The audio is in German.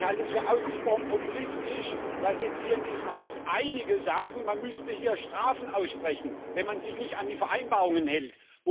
Ich halte es für ausgesprochen populistisch, dass jetzt hier in diesem Haus einige sagen, man müßte hier Strafen aussprechen, wenn man sich nicht an die Vereinbarungen hält.